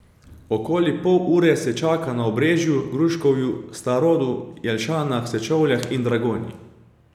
Okoli pol ure se čaka na Obrežju, Gruškovju, Starodu, Jelšanah, Sečovljah in Dragonji.